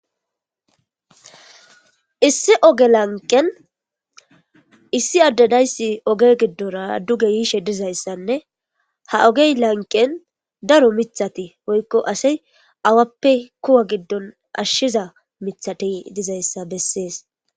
issi oge lanqen issi addanayssi oge giddora duge yiishe dizayssanne ha ogey lanqen daro mithati woykko asi awappe kuwa giddon ashshiza mithati dizayssa bessees